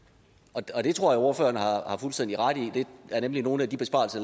og det tror jeg ordføreren har har fuldstændig ret i det er nemlig nogle af de besparelser